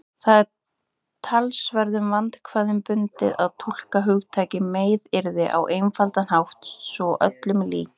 Það er talsverðum vandkvæðum bundið að túlka hugtakið meiðyrði á einfaldan hátt svo öllum líki.